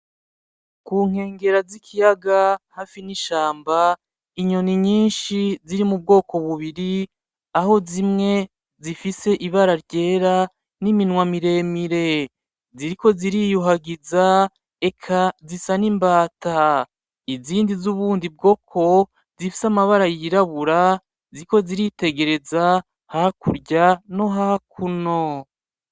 Ku nkegera z'ikiyaga hafi n'ishamba inyoni nyinshi ziri mu bwoko bubiri aho zimwe zifise ibara ryera n'iminwa miremire, ziriko ziriyuhagiza eka zisa nk'imbata! izindi z'ubundi bwoko zifise amabara yirabura ziriko ziritegereza hakurya no hakuno.